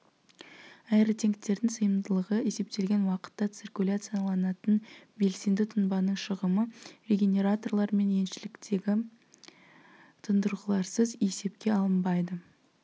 аэротенктердің сыйымдылығы есептелген уақытта циркуляцияланатын белсенді тұнбаның шығымы регенераторлар мен екіншіліктегі тұндырғыларсыз есепке алынбайды